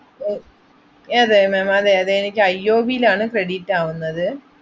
A~ ഏത് ma'am അതെ അതെ, എനിക്ക് ഐ ഒ ബിയിൽ ആണ് credit ആവുന്നത്.